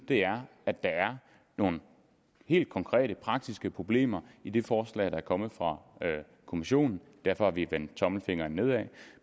der er nogle helt konkrete praktiske problemer i det forslag der er kommet fra kommissionen og derfor har vi vendt tommelfingeren nedad